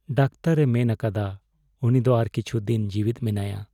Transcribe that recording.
ᱫᱟᱠᱛᱟᱨᱼᱮ ᱢᱮᱱ ᱟᱠᱟᱫᱟ ᱩᱱᱤ ᱫᱚ ᱟᱨ ᱠᱤᱪᱷᱩ ᱫᱤᱱ ᱡᱤᱣᱮᱫ ᱢᱮᱱᱟᱭᱟ ᱾